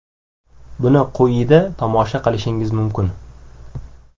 Buni quyida tomosha qilishingiz mumkin: !